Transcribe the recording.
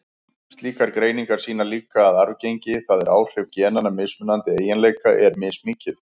Slíkar greiningar sýna líka að arfgengi, það er áhrif genanna, mismunandi eiginleika er mismikið.